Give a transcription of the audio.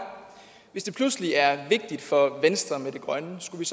hvis det pludselig er vigtigt for venstre med det grønne skulle